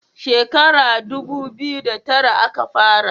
Shekara dubu biyu da tara a ka fara